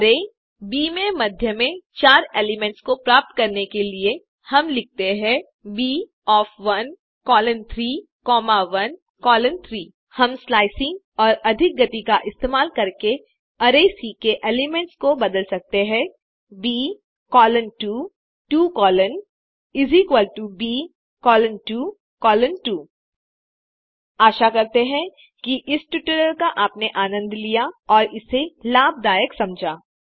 array B में मध्य के चार एलिमेंट्स को प्राप्त करने के लिए हम लिखते हैं B of 1 colon 3 comma 1 colon 3 हम स्लाइसिंग और अधिक गति का इस्तेमाल करके अरै सी के एलिमेंट्स को बदल सकते हैं Bcolon 2 2 colon Bcolon 2 कोलोन 2 आशा करते हैं कि इस ट्यूटोरियल का आपने आनंद लिया और इसे लाभदायक समझा